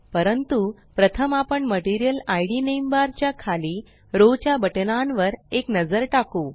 परंतु प्रथम आपण मटेरियल IDनेम बार च्या खाली रो च्या बटनांवर एक नजर टाकु